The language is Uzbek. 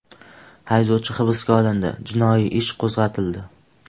Haydovchi hibsga olindi, jinoiy ish qo‘zg‘atildi.